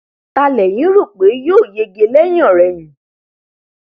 ta lẹ̀yìn rò pé yóò yege lẹ́yìnọ̀rẹyìn